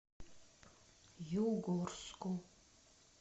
югорску